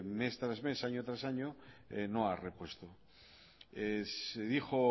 mes tras mes año tras año no ha repuesto se dijo